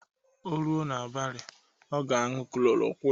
O ruo n'abalị, ọga aṅụ klorokwin